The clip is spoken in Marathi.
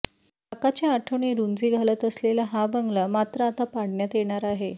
काकाच्या आठवणी रुंजी घालत असलेला हा बंगला मात्र आता पाडण्यात येणार आहे